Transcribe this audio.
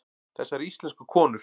Þessar íslensku konur!